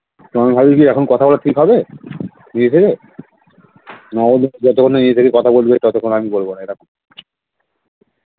এখন কি কথাবার্তি হবে ঠিকাছে যতক্ষণ না নিজ থেকে কথা বলবি ততক্ষন আমি বলবো